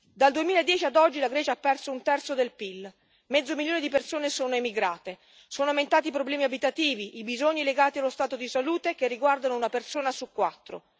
Dal 2010 ad oggi la Grecia ha perso un terzo del PIL, mezzo milione di persone sono emigrate, sono aumentati i problemi abitativi, i bisogni legati allo stato di salute, che riguardano una persona su quattro.